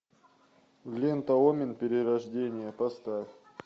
лента омен перерождение поставь